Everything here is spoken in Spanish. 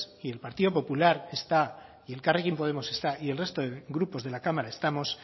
y el partido popular está y elkarrekin podemos está y el resto de grupos de la cámara estamos